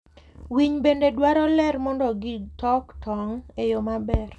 Winy bende dwaro ler mondo gitok tong' e yo maber.